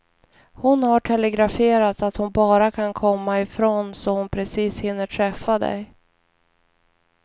Hon har telegraferat att hon bara kan komma ifrån så att hon precis hinner träffa dig.